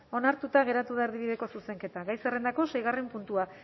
onartuta geratu da erdibideko zuzenketa gai zerrendako seigarren puntua